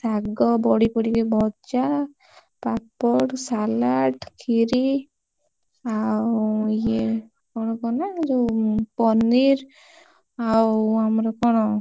ଶାଗ, ବଢି, ପଡିକି ଭଜା, ପାମ୍ପଡ, salad ଖିରୀ ଆଉ ଇଏ କଣ କହନା ଯୋଉ paneer